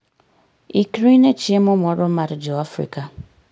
Ikri ne chiemo moro mar Jo-Afrika